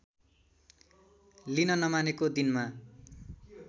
लिन नमानेको दिनमा